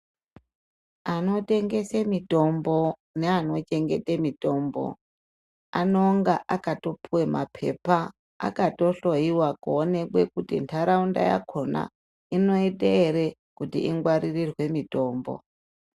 Anotengese mitombo neanochengete mitombo anonga akatopuwa mapepa akatohloyiwa kuonekwa kuti ntaraunda yakhona inoita ere kuti ingwaririrwe mitombo.